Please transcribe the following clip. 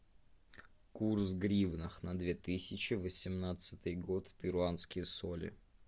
курс в гривнах на две тысячи восемнадцатый год в перуанские соли